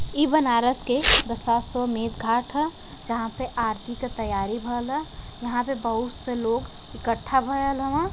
इ बनारस के दासासो मेंत घाट ह। जहाँ पे आरती का तैयारी भयल ह। यहाँ पे बहोत से लोग इकठ्ठा भयल हव।